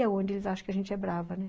E é onde eles acham que a gente é brava, né?